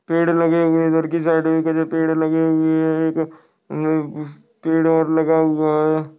Paid लगे हुए इधर की साइड मे केसे पेड़ लगे हुए है एक पेड और लगा हुआ है।